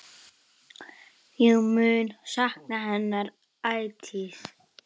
Ég mun sakna hennar ætíð.